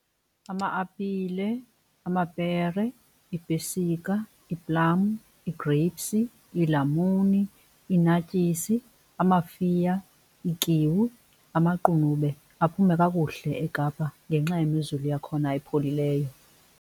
Ama-apile, amapere, iipesika, ii-plum, ii-grapes, iilamuni, i-naartjies, amafiya, iikiwi, amaqunube aphume kakuhle eKapa ngenxa yemozulu yakhona epholileyo.